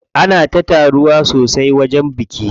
Ana ta taruwa sosai a wajen bikin.